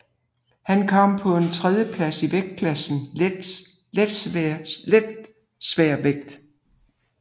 Han kom på en tredjeplads i vægtklassen Letsværvægt